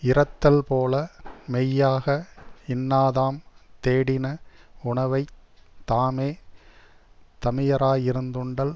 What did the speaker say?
இரத்தல் போல மெய்யாக இன்னாதாம் தேடின உணவை தாமே தமியராயிருந் துண்டல்